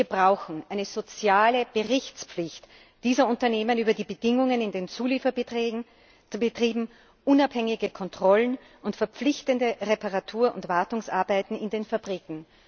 Wir brauchen eine soziale Berichtspflicht dieser Unternehmen über die Bedingungen in den Zulieferbetrieben, unabhängige Kontrollen und verpflichtende Reparatur und Wartungsarbeiten in den Fabriken.